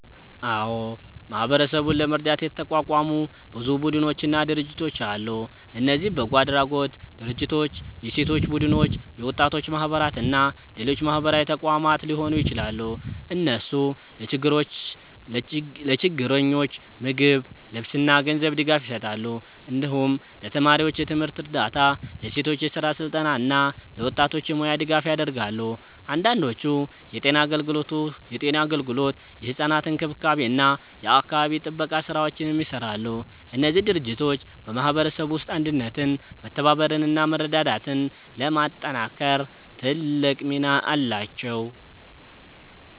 አዎ፣ ማህበረሰቡን ለመርዳት የተቋቋሙ ብዙ ቡድኖችና ድርጅቶች አሉ። እነዚህ በጎ አድራጎት ድርጅቶች፣ የሴቶች ቡድኖች፣ የወጣቶች ማህበራት እና ሌሎች ማህበራዊ ተቋማት ሊሆኑ ይችላሉ። እነሱ ለችግረኞች ምግብ፣ ልብስ እና ገንዘብ ድጋፍ ይሰጣሉ። እንዲሁም ለተማሪዎች የትምህርት እርዳታ፣ ለሴቶች የስራ ስልጠና እና ለወጣቶች የሙያ ድጋፍ ያደርጋሉ። አንዳንዶቹ የጤና አገልግሎት፣ የሕፃናት እንክብካቤ እና የአካባቢ ጥበቃ ስራዎችንም ይሰራሉ። እነዚህ ድርጅቶች በማህበረሰቡ ውስጥ አንድነትን፣ መተባበርን እና መረዳዳትን ለማጠናከር ትልቅ ሚና አላቸው።